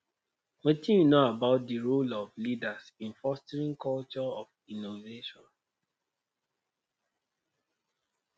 wetin you know about di role of leaders in fostering culture of innovaion